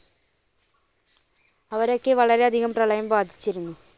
അവരെ ഒക്കെ വളരെ അധികം പ്രളയം ബാധിച്ചിരുന്നു.